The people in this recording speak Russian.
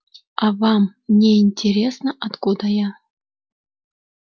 а вам не интересно откуда я